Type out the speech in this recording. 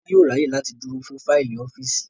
Tọ́lá yóò ráyè láti dúró fún fáìlì ọ́fíìsì